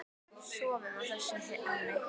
Sofum á þessu, Hemmi.